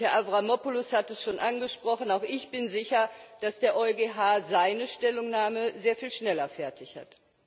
Und Herr Avramopoulos hat es schon angesprochen auch ich bin sicher, dass der EuGH seine Stellungnahme sehr viel schneller fertig hat.